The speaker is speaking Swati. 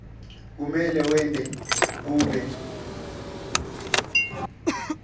kumele wente kube